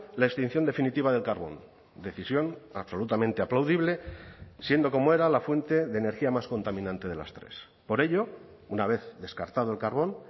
la extinción definitiva del carbón decisión absolutamente aplaudible siendo como era la fuente de energía más contaminante de las tres por ello una vez descartado el carbón